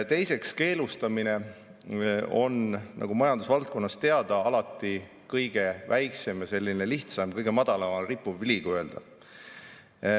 Teiseks, keelustamine on, nagu majandusvaldkonnas teada, alati kõige väiksem ja lihtsam, kõige madalamal rippuv.